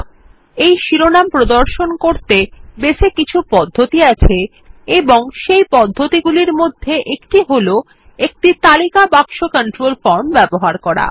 তাই শিরোনাম প্রদর্শন করতে বেস এ কিছু পদ্ধতি আছে এবং সেই পদ্ধতিগুলির মধ্যে একটি হল একটি তালিকা বাক্স ফরম কন্ট্রোল ব্যবহার করা